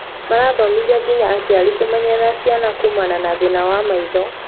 Marathomithia nginya aciari kũmenyerera ciana kuumana na thĩna wa maitho